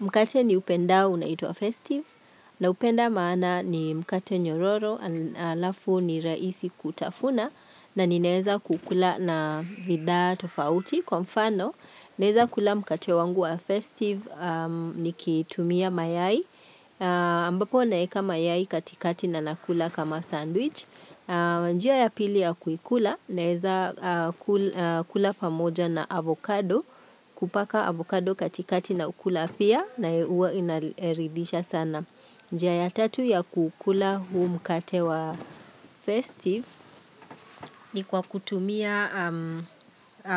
Mkate ni upendao unaitwa festive na upenda maana ni mkate nyororo alafu ni raisi kutafuna na ninaeza kukula na vidhaa tofauti kwa mfano. Naeza kula mkate wangu wa festive ni kitumia mayai ambapo naeka mayai katikati na nakula kama sandwich. Njia ya pili ya kuikula naeza kula pamoja na avocado kupaka avocado katikati na ukula pia. Na huwa inaridisha sana. Njia ya tatu ya kukula huu mkate wa festive. Ni kwa kutumia